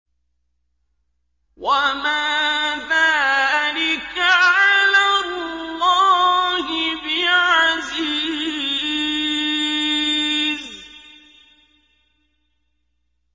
وَمَا ذَٰلِكَ عَلَى اللَّهِ بِعَزِيزٍ